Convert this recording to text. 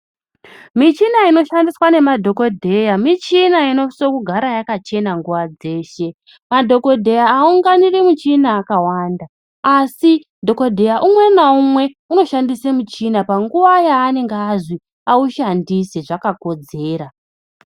Michina inoshandiswa nemadhokodheya michina inosisa kugara yakachea nguwa dzese madhokodheya aunganiri muchina akawanda asi dhokodheya umwe na umwe anoshandisa muchina panguwa yanenge azi aushandise zvakakodzera.